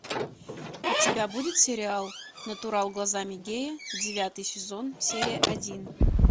у тебя будет сериал натурал глазами гея девятый сезон серия один